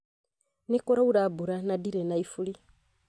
Nĩ kuraura mbura na ndirĩ na ifuri.